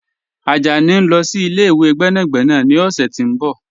Ajani n lọ sí ilẹ̀-ìwé gbẹ́nàgbẹ̀nà ni ọ̀ṣẹ̀ ti n bọ̀.